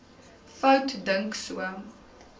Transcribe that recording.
fout dink sou